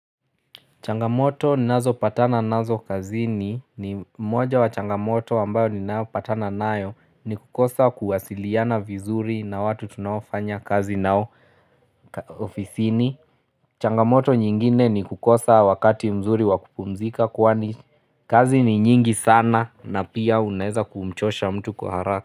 Changamoto ninazo patana nazo kazini ni moja wa changamoto ambayo ninayo patana nayo ni kukosa kuwasiliana vizuri na watu tunaofanya kazi nao ofisini. Changamoto nyingine ni kukosa wakati mzuri wakupumzika kwani kazi ni nyingi sana na pia unaweza kumchosha mtu kwa haraka.